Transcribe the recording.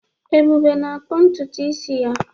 Ebube na-akpụ ntutu isi ya.